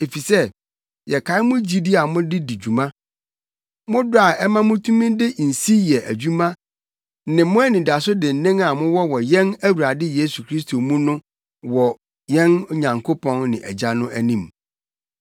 Efisɛ yɛkae mo gyidi a mode di dwuma, mo dɔ a ɛma mutumi de nsi yɛ adwuma ne mo anidaso dennen a mowɔ wɔ yɛn Awurade Yesu Kristo mu no wɔ yɛn Nyankopɔn ne Agya no anim.